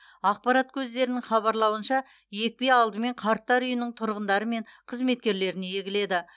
ақпарат көздерінің хабарлауынша екпе алдымен қарттар үйінің тұрғындары мен қызметкерлеріне егіледі